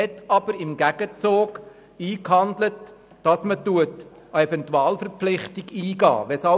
Im Gegenzug hat man sich aber eingehandelt, dass eine Eventualverpflichtung eingegangen wird.